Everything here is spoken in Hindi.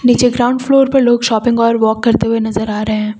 नीचे ग्राउंड फ्लोर पर लोग शॉपिंग और वॉक करते हुए नजर आ रहे हैं।